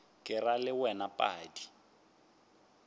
ke ra le wena padi